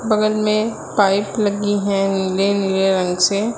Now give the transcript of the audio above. बगल में पाइप लगी है नीले नीले रंग से--